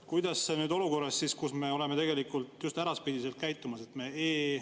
Kuidas see mõjub nüüd olukorras, kus me oleme tegelikult just äraspidiselt käitumas?